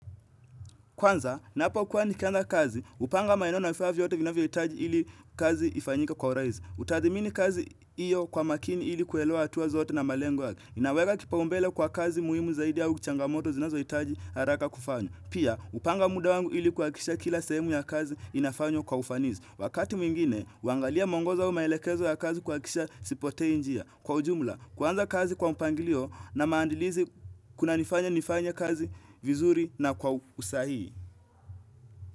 Kwanza, napokuwa nikianza kazi, hupanga maeneo na vifaa vyote vinavyohitaji ili kazi ifanyike kwa urahisi. Hutathmini kazi hiyo kwa makini ili kuelewa hatua zote na malengo yake. Inaweka kipaumbele kwa kazi muhimu zaidi au changamoto zinazohitaji haraka kufanya. Pia, hupanga muda wangu ili kuhakikisha kila sehemu ya kazi inafanywa kwa ufanisi. Wakati mwingine, huangalia mwongozo au maelekezo ya kazi kuhakikisha sipotei njia. Kwa ujumla, kuanza kazi kwa mpangilio na maandilizi kunanifanya nifanye kazi vizuri na kwa usahii.